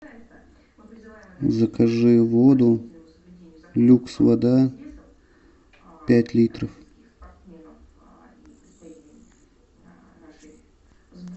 закажи воду люкс вода пять литров